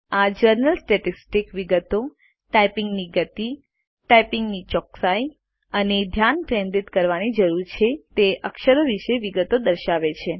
આ general statistics વિગતો typing ની ગતી ટાઈપીંગ ની ચોકસાઈ અને ધ્યાન કેન્દ્રિત કરવાની જરૂર છે તે અક્ષરો વિષે વિગતો દર્શાવે છે